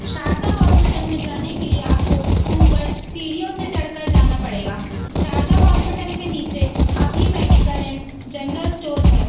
Sharda hospital में जाने के लिए आपको ऊपर सीडीओ से चढ़कर जाना पड़ेगा शारदा हॉस्पिटल के नीचे अभी मेडिकल एंड जनरल स्टोर है।